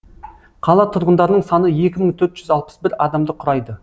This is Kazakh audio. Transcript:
қала тұрғындарының саны екі мың төрт жүз алпыс бір адамды құрайды